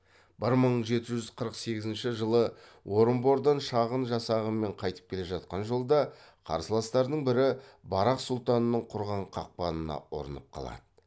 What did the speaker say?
бір мың жеті жүз қырық сегізінші жылы орынбордан шағын жасағымен қайтып келе жатқан жолда қарсыластарының бірі барақ сұлтанның құрған қақпанына ұрынып қалады